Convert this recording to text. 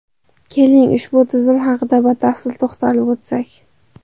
Keling, ushbu tizim haqida batafsil to‘xtalib o‘tsak.